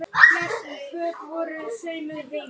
Hún þekkti okkur svo vel.